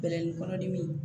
Bɛlɛnin kɔnɔdimi